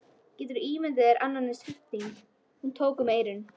Geturðu ímyndað þér annan eins hrylling. Hún tók um eyrun.